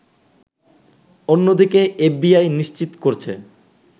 অন্যদিকে এফবিআই নিশ্চিত করছে